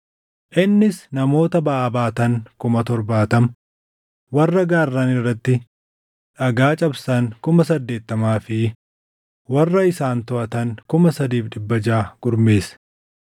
Innis namoota baʼaa baatan 70,000 warra gaarran irratti dhagaa cabsan 80,000 fi warra isaan toʼatan 3,600 gurmeesse.